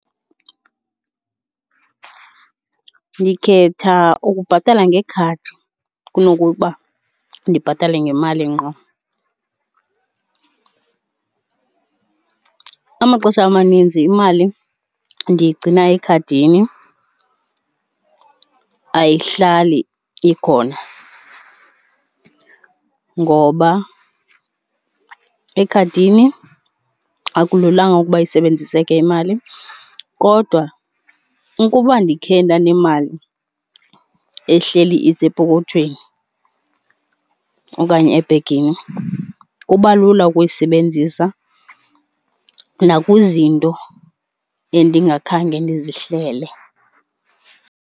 Ndikhetha ukubhatala ngekhadi kunokuba ndibhatale ngemali ngqo. Amaxesha amaninzi imali ndiyigcina ekhadini, ayihlali ikhona ngoba ekhadini akululanga ukuba isebenziseke imali. Kodwa ukuba ndikhe ndanemali ehleli isepokothweni okanye ebhegini kuba lula ukuyisebenzisa nakwizinto endingakhange ndizihlele.